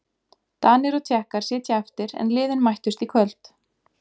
Danir og Tékkar sitja eftir en liðin mættust í kvöld.